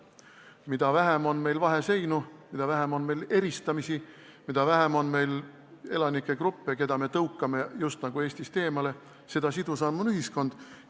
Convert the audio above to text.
Mida vähem on meil vaheseinu, mida vähem on meil eristamist, mida vähem on meil elanikegruppe, keda me tõukame just nagu Eestist eemale, seda sidusam on ühiskond.